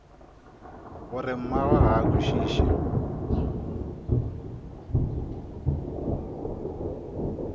gore mmagwe ga a kwešiše